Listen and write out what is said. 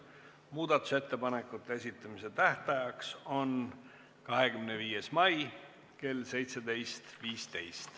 Muudatusettepanekute esitamise tähtajaks on 25. mai kell 17.15.